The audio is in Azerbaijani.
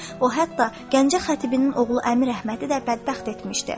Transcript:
O hətta Gəncə xətibinin oğlu Əmir Əhmədi də bədbəxt etmişdi.